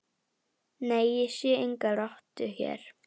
Nei, ég sé enga rottu hér